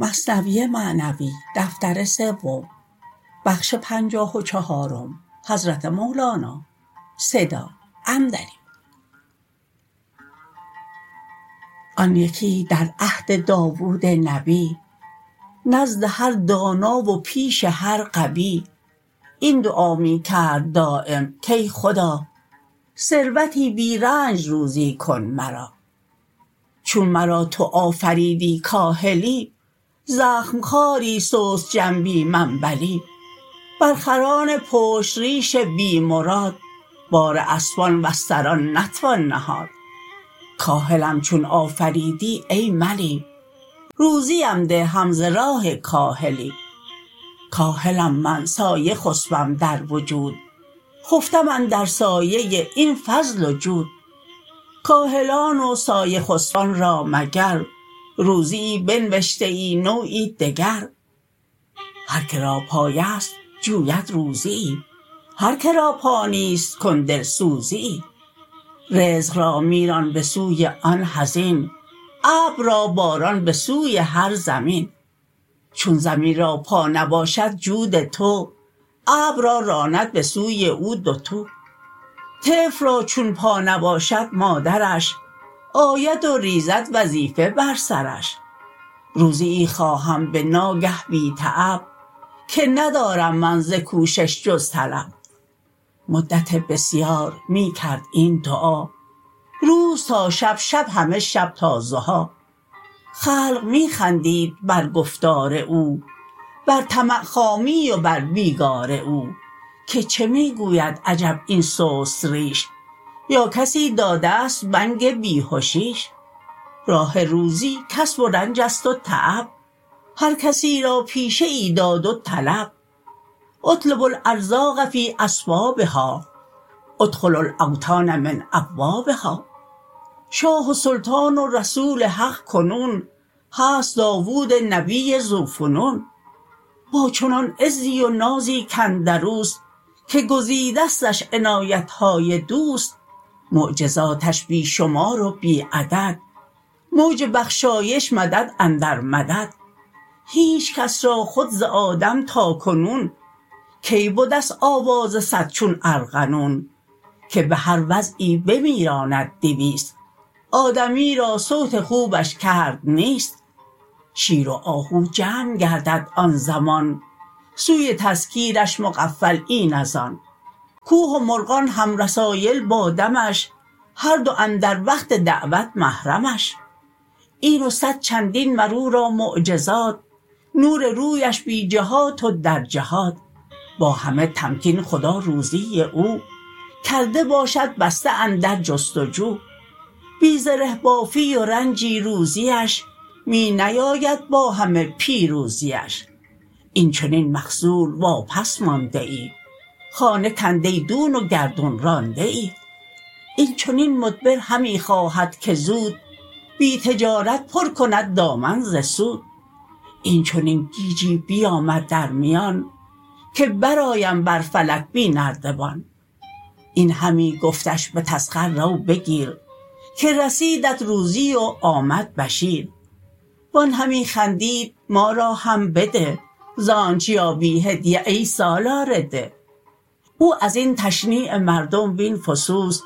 آن یکی در عهد داوود نبی نزد هر دانا و پیش هر غبی این دعا می کرد دایم کای خدا ثروتی بی رنج روزی کن مرا چون مرا تو آفریدی کاهلی زخم خواری سست جنبی منبلی بر خران پشت ریش بی مراد بار اسپان و استران نتوان نهاد کاهلم چون آفریدی ای ملی روزیم ده هم ز راه کاهلی کاهلم من سایه خسپم در وجود خفتم اندر سایه این فضل و جود کاهلان و سایه خسپان را مگر روزیی بنوشته ای نوعی دگر هر که را پایست جوید روزیی هر که را پا نیست کن دلسوزیی رزق را می ران به سوی آن حزین ابر را باران به سوی هر زمین چون زمین را پا نباشد جود تو ابر را راند به سوی او دوتو طفل را چون پا نباشد مادرش آید و ریزد وظیفه بر سرش روزیی خواهم به ناگه بی تعب که ندارم من ز کوشش جز طلب مدت بسیار می کرد این دعا روز تا شب شب همه شب تا ضحی خلق می خندید بر گفتار او بر طمع خامی و بر بیگار او که چه می گوید عجب این سست ریش یا کسی دادست بنگ بیهشیش راه روزی کسب و رنجست و تعب هر کسی را پیشه ای داد و طلب اطلبوا الارزاق فی اسبابها ادخلو الاوطان من ابوابها شاه و سلطان و رسول حق کنون هست داود نبی ذو فنون با چنان عزی و نازی کاندروست که گزیدستش عنایتهای دوست معجزاتش بی شمار و بی عدد موج بخشایش مدد اندر مدد هیچ کس را خود ز آدم تا کنون کی بدست آواز صد چون ارغنون که بهر وعظی بمیراند دویست آدمی را صوت خوبش کرد نیست شیر و آهو جمع گردد آن زمان سوی تذکیرش مغفل این از آن کوه و مرغان هم رسایل با دمش هردو اندر وقت دعوت محرمش این و صد چندین مرورا معجزات نور رویش بی جهات و در جهات با همه تمکین خدا روزی او کرده باشد بسته اندر جست و جو بی زره بافی و رنجی روزیش می نیاید با همه پیروزیش این چنین مخذول واپس مانده ای خانه کنده دون و گردون رانده ای این چنین مدبر همی خواهد که زود بی تجارت پر کند دامن ز سود این چنین گیجی بیامد در میان که بر آیم بر فلک بی نردبان این همی گفتش بتسخر رو بگیر که رسیدت روزی و آمد بشیر و آن همی خندید ما را هم بده زانچ یابی هدیه ای سالار ده او ازین تشنیع مردم وین فسوس